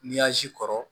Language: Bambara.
kɔrɔ